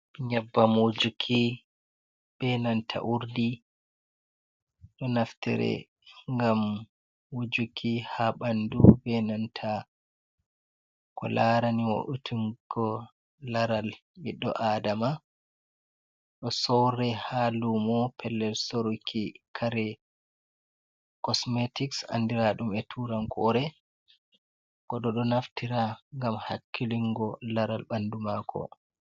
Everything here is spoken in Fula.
Nyebbam wujuki be nanta urdi ɗo naftire gam wujuki ha ɓandu be nanta ko larani wo utingo laral ɓiɗɗo adama, ɗo sorre ha lumo pellel soruuki kare kosmetik andiraɗum e turankore, goɗɗo ɗo naftira gam hakkilingo laral bandu mako..